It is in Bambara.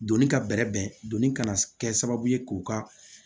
Donni ka bɛrɛ bɛn doni kana kɛ sababu ye k'u ka